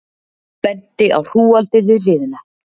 Benti á hrúgaldið við hliðina.